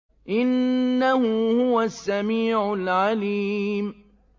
إِنَّهُ هُوَ السَّمِيعُ الْعَلِيمُ